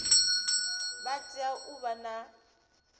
vha tea u vha na